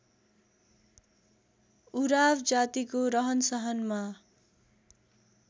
उराव जातिको रहनसहनमा